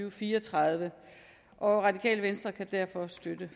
og fire og tredive og radikale venstre kan derfor støtte